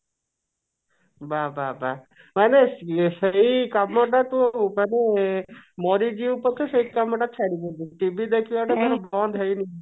ବାଃ ନବାଃ ବାଃ ମାନେ ସେଇ କାମ ଟାକୁ ମାନେ ମରିଯିବୁ ପଛେ ସେଇ କାମ ଟାକୁ ଛାଡ଼ିବୁନୁ TV ଦେଖିବା ଟା